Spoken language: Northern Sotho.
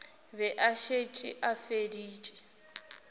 be a šetše a feditše